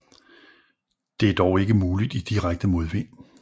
Det er dog ikke muligt i direkte modvind